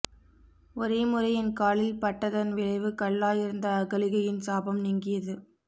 ஒரே முறை என் காலில் பட்டதன் விளைவு கல்லாய் இருந்த அகலிகையின் சாபம் நீங்கியது